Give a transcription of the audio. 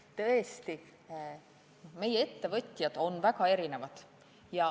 Tõesti, meie ettevõtjad on väga erinevad.